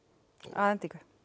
að endingu